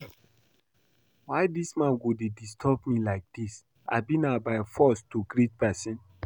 Why dis man go dey disturb me like dis, abi na by force to greet person?